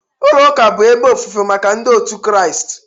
Ụlọ ụka bụ ebe ofufe maka ndị otu Kristi